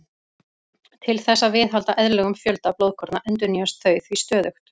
Til þess að viðhalda eðlilegum fjölda blóðkorna endurnýjast þau því stöðugt.